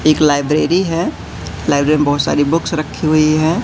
इक लाइब्रेरी है लाइब्रेरी मे बहुत सारी बुक्स रखी हुई है।